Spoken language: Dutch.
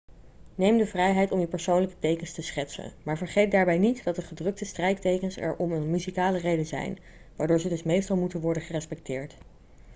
neem de vrijheid om je persoonlijke tekens te schetsen maar vergeet daarbij niet dat de gedrukte strijktekens er om een muzikale reden zijn waardoor ze dus meestal moeten worden gerespecteerd